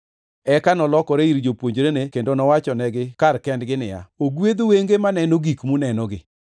Eka nolokore ir jopuonjrene kendo nowachonegi kar kendgi niya, “Ogwedh wenge maneno gik munenogi.